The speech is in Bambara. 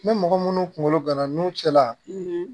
Ni mɔgɔ minnu kunkolo gana nun cɛla